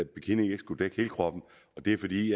bikini ikke skulle dække hele kroppen det er fordi